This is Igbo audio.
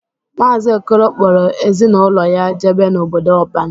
Maazị Okolo kpọrọ ezi na ụlọ ya jebe n'obodo ọban.